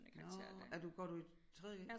Nårh er du går du i 3.g